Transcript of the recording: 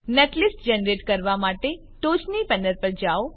netlist generate કરવા માટે ટોચની પેનલ પર જાઓ